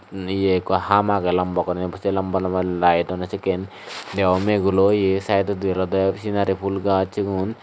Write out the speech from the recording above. yea ekku hum agey lamba guriney se lamba lamba laywt dunne sekkin deba bu megulo oyi side odi olode scenary phool gaj sigun.